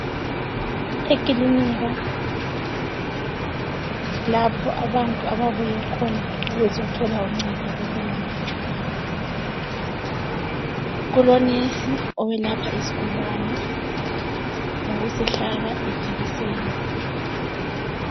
Ekilinika lapho abantu ababuyekhona ukuzothola uncedo lwekwelatshwa kulo nurse owelapha isigulane ngokusihlaba ijekiseni.